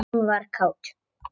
Hún var kát.